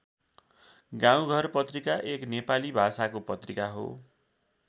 गाउँघर पत्रिका एक नेपाली भाषाको पत्रिका हो।